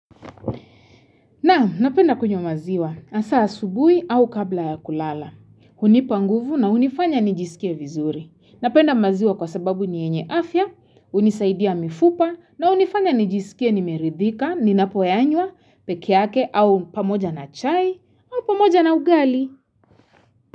Na, napenda kunywa maziwa, hasa asubuhi au kabla ya kulala. Hunipa nguvu na hunifanya nijisikie vizuri. Napenda maziwa kwa sababu ni yenye afya, hunisaidia mifupa na hunifanya nijisikie nimeridhika, ninapoyanywa, peke yake au pamoja na chai au pamoja na ugali.